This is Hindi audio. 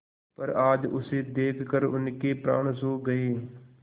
पर आज उसे देखकर उनके प्राण सूख गये